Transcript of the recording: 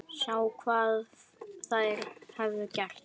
Sá hvað þær höfðu gert.